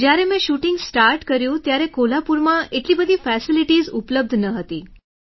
જ્યારે મેં shooting start કર્યું ત્યારે કોલ્હાપુરમાં એટલી બધી ફેસિલિટીઝ ઉપલબ્ધ ન હતી